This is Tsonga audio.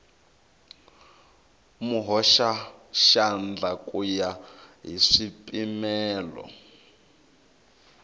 muhoxaxandla ku ya hi swipimelo